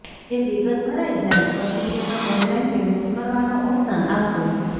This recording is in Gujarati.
એ વિગત ભરાઈ જાય પછી તેમાં ઓનલાઈન પેમેન્ટ કરવાનો ઓપ્શન આવશે